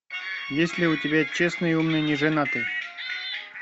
есть ли у тебя честный умный неженатый